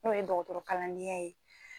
N'o ye dɔgɔtɔrɔkalandenya ye